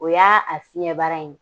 O y'a a fiɲɛ baara ye.